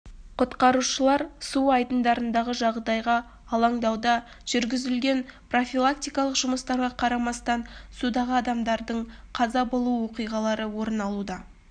құтқарушылар су айдындарындағы жағдайға алаңдауда жүргізілген профилактикалық жұмыстарға қарамастан судағы адамдардың қаза болуы оқиғалары орын алуда